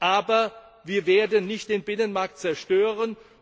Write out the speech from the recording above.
Aber wir werden nicht den Binnenmarkt zerstören.